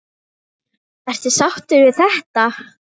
Ertu sáttur við þetta?